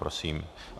Prosím.